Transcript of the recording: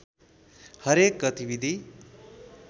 हरेक गतिविधि